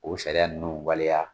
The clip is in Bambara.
O sariya ninnu waleya